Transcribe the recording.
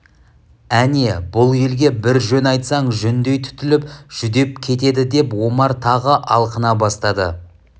әне бұл елге бір жөн айтсаң жүндей түтіліп жүдеп кетеді деп омар тағы алқына бастады